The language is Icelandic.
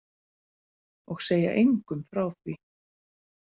Og segja engum frá því.